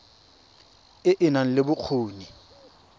e e nang le bokgoni